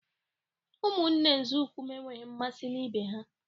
Ụmụnne nzọụkwụ m enweghị mmasị na ibe ha